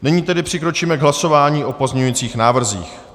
Nyní tedy přikročíme k hlasování o pozměňujících návrzích.